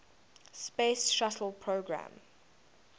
space shuttle program